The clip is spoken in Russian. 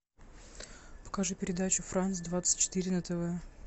покажи передачу франс двадцать четыре на тв